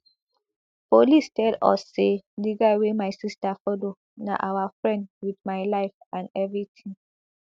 police tell us say di guy wey my sister follow na our firend wit my life and evritin